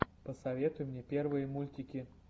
посоветуй мне первые мультики